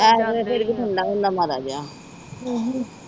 S ਵੇਲੇ ਫਿਰ ਵੀ ਠੰਡਾ ਹੁੰਦਾ ਮਾੜਾ ਜਿਹਾ